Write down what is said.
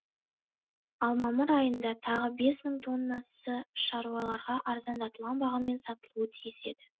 ал мамыр айында тағы бес мың тоннасы шаруаларға арзандатылған бағамен сатылуы тиіс еді